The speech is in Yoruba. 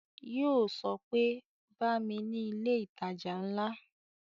Yo sọ pé "Bá mi ni ilé ìtajà ńlá"